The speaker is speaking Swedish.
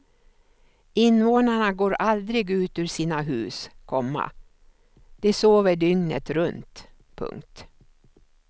Invånarna går aldrig ut ur sina hus, komma de sover dygnet runt. punkt